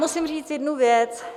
Musím říct jednu věc.